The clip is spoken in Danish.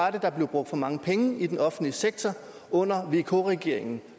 at der blev brugt for mange penge i den offentlige sektor under vk regeringen